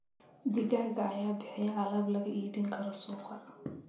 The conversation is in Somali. Digaagga ayaa bixiya alaab laga iibin karo suuqa.